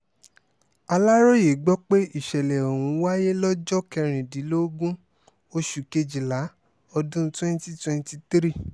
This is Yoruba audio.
aláròye gbọ́ pé ìsẹ̀lẹ̀ ọ̀hún wáyé lọ́jọ́ kẹrìndínlógún oṣù kejìlá ọdún twenty twenty three